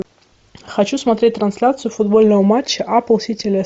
хочу смотреть трансляцию футбольного матча апл сити лестер